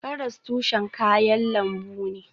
Karas tushen kayan lambu ne.